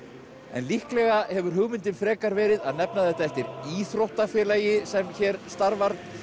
en líklega hefur hugmyndin frekar verið að nefna þetta eftir íþróttafélagi sem hér starfar